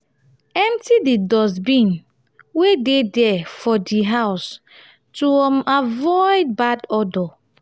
empty di dustbin wey de dere for di house to um avoid bad odor